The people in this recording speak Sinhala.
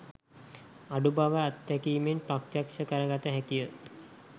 අඩු බව අත්දැකීමෙන් ප්‍රත්‍යක්ෂ කරගත හැකිය